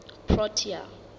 protea